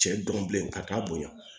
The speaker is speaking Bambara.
Cɛ dɔn bilen ka taa bonya